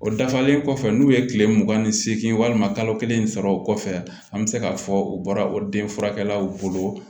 O dafalen kɔfɛ n'u ye kile mugan ni segin walima kalo kelen sɔrɔ o kɔfɛ an bɛ se k'a fɔ u bɔra o den furakɛlaw bolo